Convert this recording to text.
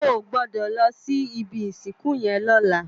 Ò gbòdò lò si ibi isinkú yèn lòlá